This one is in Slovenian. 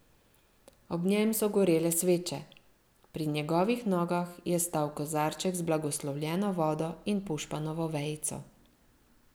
Ob njem so gorele sveče, pri njegovih nogah je stal kozarček z blagoslovljeno vodo in pušpanovo vejico.